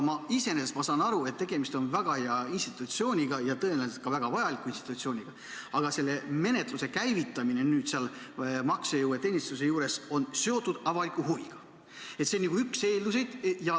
Iseenesest ma saan aru, et tegemist on väga hea institutsiooniga ja tõenäoliselt ka väga vajaliku institutsiooniga, aga selle menetluse käivitamine seal maksejõuetuse teenistuse juures on seotud avaliku huviga, see on nagu üks eeldusi.